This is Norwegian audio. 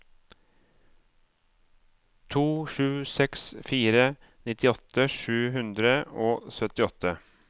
to sju seks fire nittiåtte sju hundre og syttiåtte